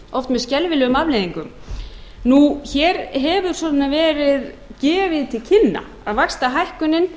oft með skelfilegum afleiðingum hér hefur svona verið gefið til kynna að vaxtahækkunin